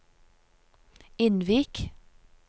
Innvik